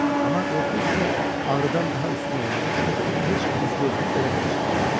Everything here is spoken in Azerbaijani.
Amma qorxu hissi ağrıdan daha üstün olduğu üçün heç üz-gözümü belə qırışdırmadım.